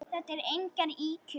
Þetta eru engar ýkjur.